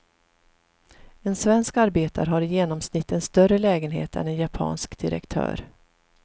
En svensk arbetare har i genomsnitt en större lägenhet än en japansk direktör.